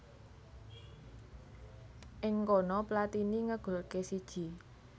Ing kono Platini ngegolké siji